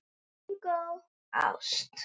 Bingó: ást.